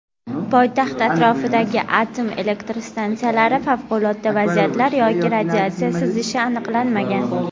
Poytaxt atrofidagi atom elektr stansiyalarida favqulodda vaziyatlar yoki radiatsiya sizishi aniqlanmagan.